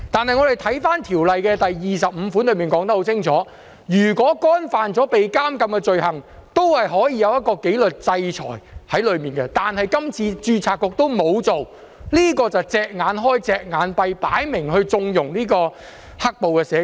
可是，《條例》第25條已清楚說明，如果干犯可被監禁的罪行，註冊局也可作出紀律制裁，但註冊局這次沒有這樣做，是"隻眼開，隻眼閉"，明顯地在縱容"黑暴"社工。